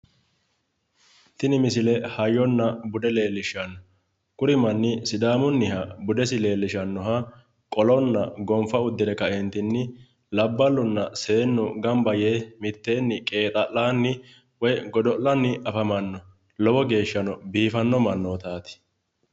Tini misile hayyonna bude leellishshanno. Kuri manni sidaamunniha budesi leellishshannoha qolonna gonfa uddire kaeentinni labballunna seennu gamba yee mitteenni qeexaa'lanni woyi godo'lanni afamanno. Lowo geeshshano biifanno mannootaati.